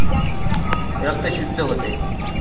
रक्त शुद्ध होते,